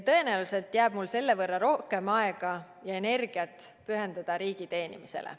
Tõenäoliselt jääb mul selle võrra rohkem aega ja energiat pühenduda riigi teenimisele.